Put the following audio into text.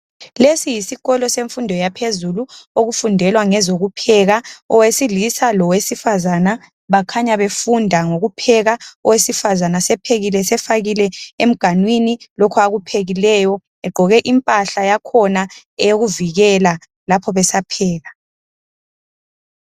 Lesi yisikolo semfundo yaphezulu okufundelwa ngezokupheka. Owesilisa lowesifazana bakhanya befunda ngokupheka. Owesifazana sephekile sefakile emganwini lokho akuphekileyo egqoke impahla yakhona eyokuvikela lapho besapheka.